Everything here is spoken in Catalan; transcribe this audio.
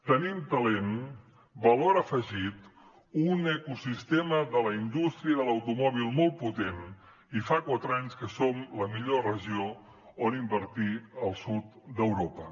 tenim talent valor afegit un ecosistema de la indústria de l’automòbil molt potent i fa quatre anys que som la millor regió on invertir al sud d’europa